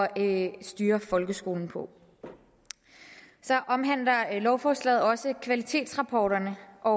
at styre folkeskolen på så omhandler lovforslaget også kvalitetsrapporterne og